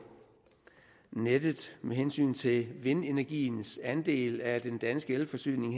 nettet med hensyn til vindenergiens andel af den danske elforsyning